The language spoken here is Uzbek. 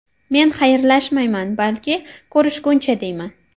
Men xayrlashmayman, balki ko‘rishguncha deyman.